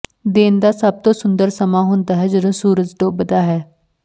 ਦਿਨ ਦਾ ਸਭ ਤੋਂ ਸੁੰਦਰ ਸਮਾਂ ਹੁੰਦਾ ਹੈ ਜਦੋਂ ਸੂਰਜ ਡੁੱਬਦਾ ਹੈ